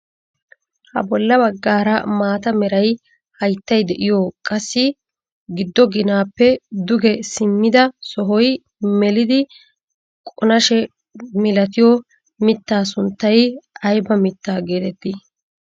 Ha bolla baggaara maata mera hayttay de'iyoo qassi giddo ginaappe duge simmida sohoy melidi qonashe milatiyoo mittaa sunttay ayba mittaa getettii?